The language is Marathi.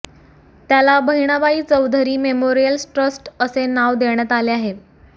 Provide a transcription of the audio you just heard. त्याला बहिणाबाई चौधरी मेमोरियल ट्रस्ट असे नाव देण्यात आले आहे